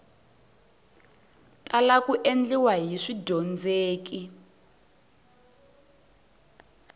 tala ku endliwa hi swidyondzeki